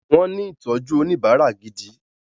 Wọ́n ní ìtọ́jú oníbárà gidi.